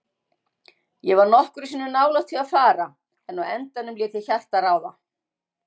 Ég var nokkrum sinnum nálægt því að fara, en á endanum lét ég hjartað ráða.